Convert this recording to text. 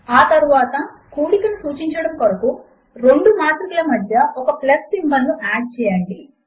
ఆ తరువాత కూడికను సూచించడము కొరకు రెండు మాత్రికల మధ్య ఒక ప్లస్ సింబల్ ను యాడ్ చేయండి